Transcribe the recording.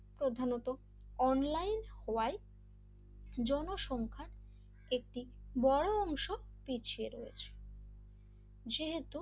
প্রধানত অনলাইন হওয়ায় জনসংখ্যার একটি বড় অংশ পিছিয়ে রয়েছে যেহেতু,